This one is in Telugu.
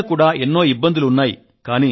అయినా కూడా ఎన్నో ఇబ్బందులు ఉన్నాయి